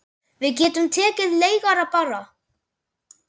Við getum tekið leigara bara.